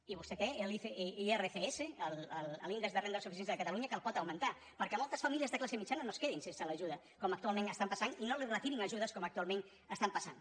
i vostè té l’irsc l’índex de renda de suficiència de catalunya que el pot augmentar perquè moltes famílies de classe mitjana no es quedin sense l’ajuda com actualment està passant i no els retirin ajudes com actualment està passant